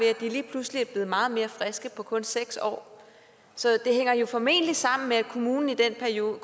at de lige pludselig er blevet meget mere friske på kun seks år så det hænger jo formentlig sammen med at kommunerne i den periode